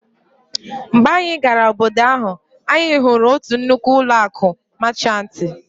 Mgbe anyị gara obodo ahụ, anyị hụrụ otu nnukwu ụlọ akụ Máchanti